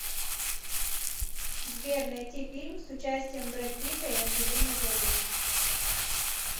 сбер найти фильм с участием брэд питта и анджелины джоли